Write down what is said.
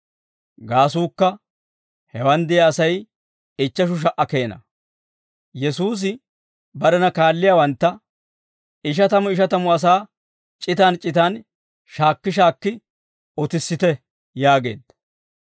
(Gaasuukka, hewaan de'iyaa Asay ichcheshu sha"aa keena.) Yesuusi barena kaalliyaawantta, «Ishatamu ishatamu asaa c'itan c'itan shaakki shaakki utissite» yaageedda.